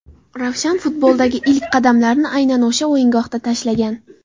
Ravshan futboldagi ilk qadamlarini aynan o‘sha o‘yingohda tashlagan.